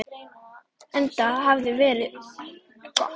Enda hafi veðrið verið gott.